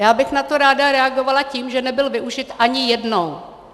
Já bych na to ráda reagovala tím, že nebyl využit ani jednou.